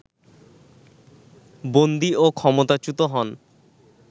বন্দী ও ক্ষমতাচ্যুত হন